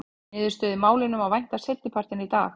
Niðurstöðu í málinu má vænta seinni partinn í dag.